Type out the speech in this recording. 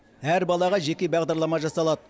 әр балаға жеке бағдарлама жасалады